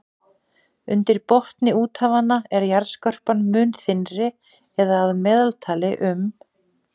Undir botni úthafanna er jarðskorpan mun þynnri eða að meðaltali um